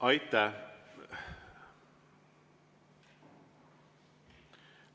Aitäh!